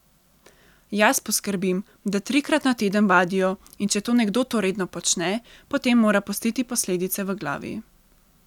Jaz poskrbim, da trikrat na teden vadijo in če to nekdo to redno počne, potem mora pustiti posledice v glavi.